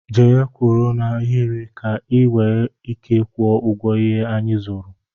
Jee kwụrụ n'ahiri ka i nwee ike ịkwọ ụgwọ ihé anyị zụrụ!!!!